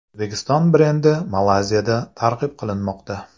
O‘zbekiston brendi Malayziyada targ‘ib qilinmoqda .